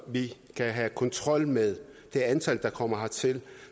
vi kan have kontrol med det antal der kommer hertil